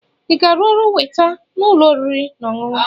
Ị ga-arụ ọrụ weta n'ụlọ oriri na ọṅụṅụ?